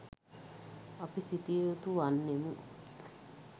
අපි සිතිය යුතු වන්නෙමු